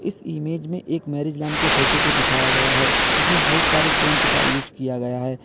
इस इमेज में एक मैरिज लॉन की फोटो को दिखाया गया है जिसमें बहुत सारे टेंट का उसे किया गया है।